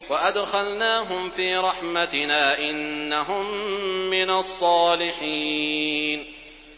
وَأَدْخَلْنَاهُمْ فِي رَحْمَتِنَا ۖ إِنَّهُم مِّنَ الصَّالِحِينَ